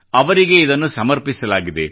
ಅವರಿಗೇ ಇದನ್ನು ಸಮರ್ಪಿಸಲಾಗಿದೆ